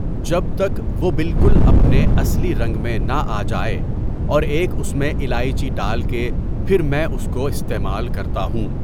جب تک وہ بالکل اپنے اصلی رنگ میں نہ آ جائے اور ایک اس میں الائچی ڈال کے پھر میں اس کو استعمال کرتا ہوں.